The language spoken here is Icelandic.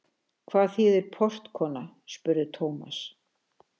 Hvað þýðir portkona? spurði Thomas.